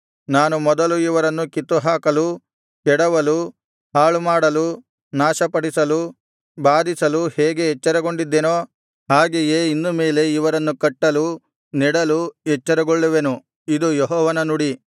ನಾನು ಮೊದಲು ಇವರನ್ನು ಕಿತ್ತುಹಾಕಲು ಕೆಡವಲು ಹಾಳುಮಾಡಲು ನಾಶಪಡಿಸಲು ಬಾಧಿಸಲು ಹೇಗೆ ಎಚ್ಚರಗೊಂಡಿದ್ದೆನೋ ಹಾಗೆಯೇ ಇನ್ನು ಮೇಲೆ ಇವರನ್ನು ಕಟ್ಟಲು ನೆಡಲು ಎಚ್ಚರಗೊಳ್ಳುವೆನು ಇದು ಯೆಹೋವನ ನುಡಿ